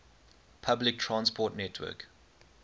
public transport network